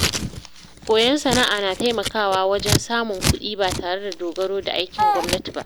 Koyon sana’a na taimakawa wajen samun kuɗi ba tare da dogaro da aikin gwamnati ba.